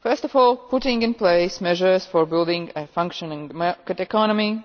First of all, putting in place measures for building a functioning market economy,